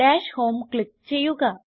dash home click ചെയ്യുക